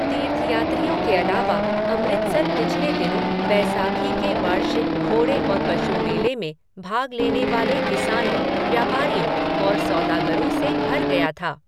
तीर्थयात्रियों के अलावा, अमृतसर पिछले दिनों बैसाखी के वार्षिक घोड़े और पशु मेले में भाग लेने वाले किसानों, व्यापारियों और सौदागरों से भर गया था।